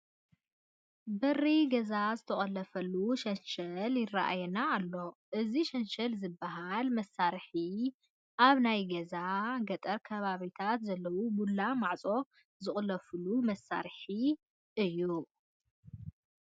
በሪ ገዛ ዝተቖለፈሉ ሸንሸል ይርአየና ኣሎ፡፡ እዚ ሸንሸል ዝበሃል መሳርሒ ኣብ ናይ ገጠር ከባቢታት ዘለዉ ቡላ ማዕፆታት ዝቑለፉሉ መሳርሒ እዩ፡፡